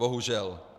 Bohužel.